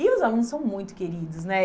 E os alunos são muito queridos, né?